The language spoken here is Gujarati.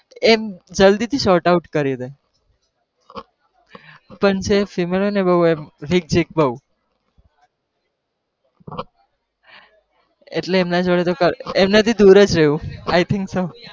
એમ જલ્દી થી sort out કરીદે પણ જે female હોય ને બહુ એમ ઝીક્ઝીક બઉ એટલે એમના જોડે તો કઈ એમનાથી દુર જ રહેવું I think so